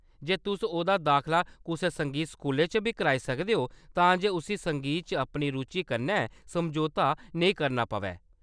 ते तुस ओह्‌‌‌दा दाखला कुसै संगीत स्कूलै च बी कराई सकदे ओ तां जे उस्सी संगीत च अपनी रुचि कन्नै समझौता नेईं करना पवै।